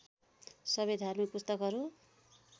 सबै धार्मिक पुस्तकहरू